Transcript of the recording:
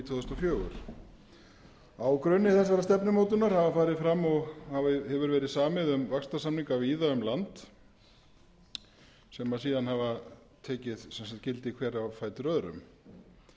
þúsund og fjögur a grunni þessarar stefnumótunar hafa farið fram og hefur verið samið um vaxtarsamning víða um land sem síðan hafa tekið gildi hver á fætur öðrum